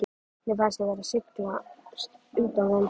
Mér fannst ég vera að sligast undan þeim.